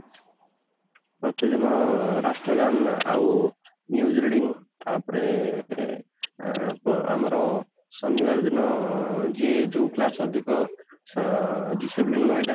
ପ୍ରତିଦିନ ରାଷ୍ଟ୍ର ଗାନ ଆଉ news reading ତାପରେ ଅଂ ଆମର ଶନିବାର ଦିନ ଯିଏ ଯୋଉ class ରେ ଅଧିକ ଆଁ discipline ରହୁଥିବ